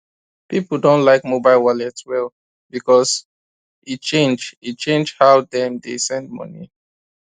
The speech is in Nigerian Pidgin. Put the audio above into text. people don like mobile wallet well because e change e change how dem dey send money